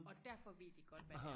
Og derfor ved de godt hvad det er